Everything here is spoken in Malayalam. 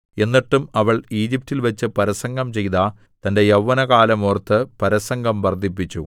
എന്നിട്ടും അവൾ ഈജിപ്റ്റിൽവെച്ച് പരസംഗം ചെയ്ത തന്റെ യൗവനകാലം ഓർത്ത് പരസംഗം വർദ്ധിപ്പിച്ചു